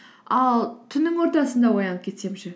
ал түннің ортасында оянып кетсем ше